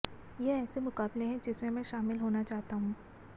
ये ऐसे मुकाबले हैं जिसमें मैं शामिल होना चाहता हूं